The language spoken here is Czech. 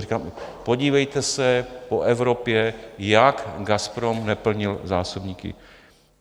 Říkám: podívejte se po Evropě, jak Gazprom neplnil zásobníky.